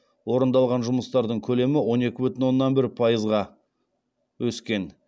орындалған жұмыстардың көлемі он екі бүтін оннан бір пайызға өскен